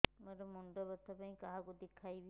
ମୋର ମୁଣ୍ଡ ବ୍ୟଥା ପାଇଁ କାହାକୁ ଦେଖେଇବି